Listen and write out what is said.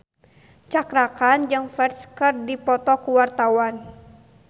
Cakra Khan jeung Ferdge keur dipoto ku wartawan